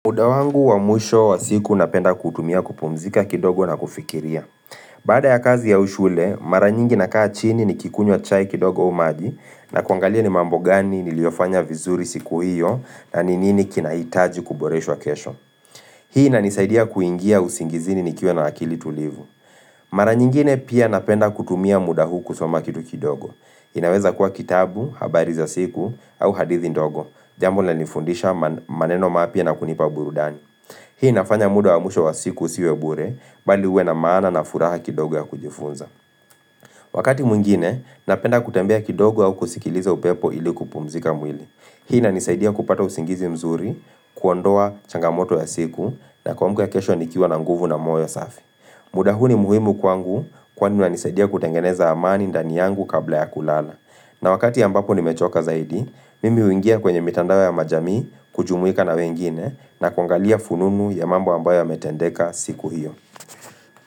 Muda wangu wa mwisho wa siku napenda kuutumia kupumzika kidogo na kufikiria. Baada ya kazi au shule, mara nyingi na kaa chini nikikunywa chai kidogo au maji na kuangalia ni mambo gani niliyofanya vizuri siku hiyo na nini kinahitaji kuboreshwa kesho. Hii inanisaidia kuingia usingizini nikiwa na akili tulivu. Mara nyingine pia napenda kutumia muda huu kusoma kitu kidogo. Inaweza kuwa kitabu, habari za siku, au hadithi ndogo. Jambo lina nifundisha maneno mapya na kunipa burudani. Hii inafanya muda wa mwisho wa siku usiwe bure, bali uwe na maana na furaha kidogo ya kujifunza. Wakati mwingine, napenda kutembea kidogo au kusikiliza upepo ili kupumzika mwili. Hii inanisaidia kupata usingizi mzuri, kuondoa changamoto ya siku, na kuamka kesho nikiwa na nguvu na moyo safi. Muda huu muhimu kwangu kwani unanisaidia kutengeneza amani ndani yangu kabla ya kulala. Na wakati ambapo nimechoka zaidi, mimi huingia kwenye mitandao ya majamii kujumuika na wengine na kuangalia fununu ya mambo ambayo yametendeka siku hiyo.